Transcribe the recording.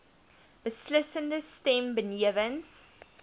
beslissende stem benewens